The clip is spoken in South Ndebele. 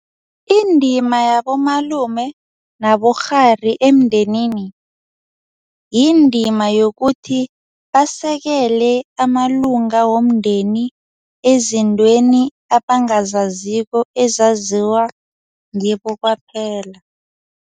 Indima yabomalume nabokghari emndenini, yindima yokuthi basekele amalunga womndeni ezintweni abangazaziko ezaziwako ngibo kwaphela.